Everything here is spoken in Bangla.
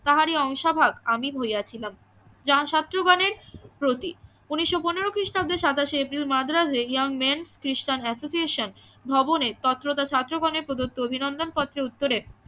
তাহারই অংশভাগ আমি হইয়াছিলাম যাহা শত্রু গনের প্রতি ঊনিশো পনেরো খ্রীষ্টাব্দের সাতাশে এপ্রিল মাদ্রাজে ইয়ং মেন্ খ্রিষ্টান এসোসিয়েশন ভবনে ছাত্র গণের প্রদত্ত অভিনন্দন পত্রের উত্তরে